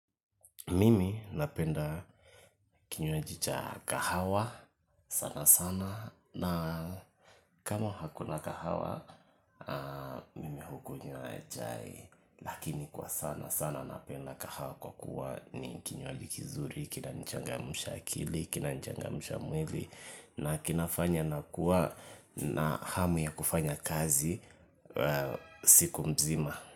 Mimi napenda kinywaji cha kahawa sana sana na kama hakuna kahawa mimi hukunywa vhai lakini kwa sana sana napenda kahawa kwa kuwa ni kinywaji kizuri, kina nichangamsha akili, kina nichangamsha mwili na kinafanya nakuwa na hamu ya kufanya kazi siku mzima.